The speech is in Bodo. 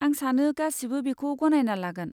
आं सानो गासिबो बेखौ गनायना लागोन।